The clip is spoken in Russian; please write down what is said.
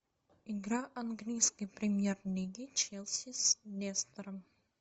игра английской премьер лиги челси с лестером